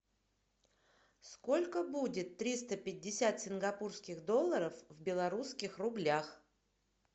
сколько будет триста пятьдесят сингапурских долларов в рублях